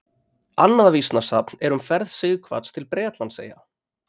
Annað vísnasafn er um ferð Sighvats til Bretlandseyja.